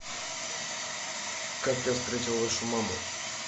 как я встретил вашу маму